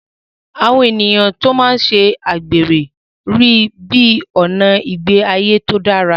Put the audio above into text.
Àwọn ènìyàn tí wọ́n máa ń ṣe àgbèrè rí i bí ọ̀nà ìgbé ayé tí ó dára.